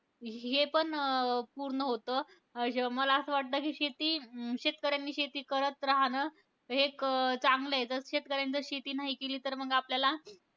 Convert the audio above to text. हे पण पूर्ण होतं. अं मला असं वाटतं कि, शेती शेतकऱ्यांनी शेती करत राहणं एक चांगलंय. जर शेतकऱ्यांनी शेती नाही केली तर मग आपल्याला,